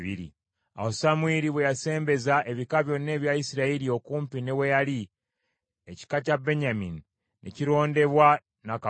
Awo Samwiri bwe yasembeza ebika byonna ebya Isirayiri okumpi ne we yali, ekika kya Benyamini ne kirondebwa na kalulu .